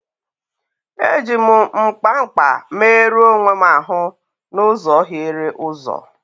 Eji m mkpa mkpa merụọ onwe m ahụ n'ụzọ hiere ụzọ.